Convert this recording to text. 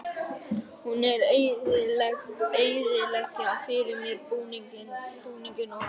Hún er að eyðileggja fyrir mér búninginn og allt.